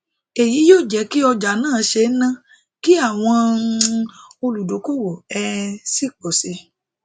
eyi yio jeki ọjà na ṣe ń ná kí àwọn um oludokowo um sì pò sí